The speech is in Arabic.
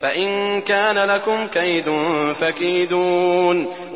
فَإِن كَانَ لَكُمْ كَيْدٌ فَكِيدُونِ